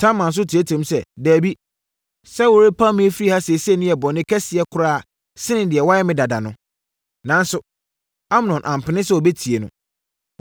Tamar nso teateaam sɛ, “Dabi. Sɛ worepam me afiri ha seesei no yɛ bɔne kɛseɛ koraa sene deɛ woayɛ me dada no.” Nanso, Amnon ampɛ sɛ ɔbɛtie no.